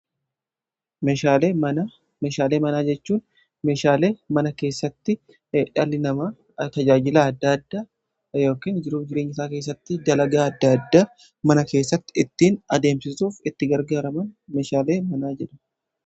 Meshaalee manaa jechuun meshaalee mana keessatti dhalli nama ktajaajilaa adda addaa yookiin jiruu jireenyasaa keessatti dalagaa adda addaa mana keessatti ittiin adeemsisuuf itti gargaaraman meshaalee manaa jedhamu